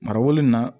Mara wolo in na